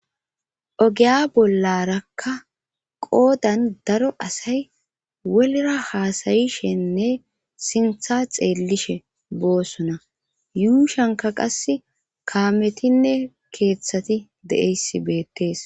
Ogeya bollarakka qoodan daro asay wolra haasayishenne sintha xeellishe boossona yuushanka qas kaametinne keeththati de'eyssi beettees